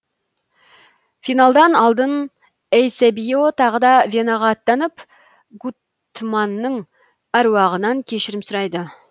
финалдан алдын эйсебио тағы да венаға аттанып гуттманның әруағынан кешірім сұрайды